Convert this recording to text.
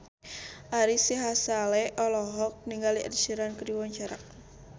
Ari Sihasale olohok ningali Ed Sheeran keur diwawancara